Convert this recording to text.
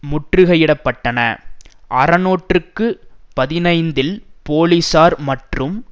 முற்றுகையிடப்பட்டன அறநூற்றுக்கு பதினைந்தில் போலிசார் மற்றும்